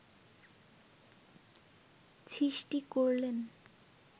সৃষ্টি করলেন